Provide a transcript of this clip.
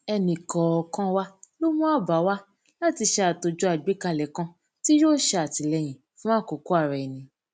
ẹnìkòòkan wa ló mú àbá wá láti ṣe àtòjọ àgbékalẹ kan tí yóò ṣe àtìlẹyìn fún àkókò araẹni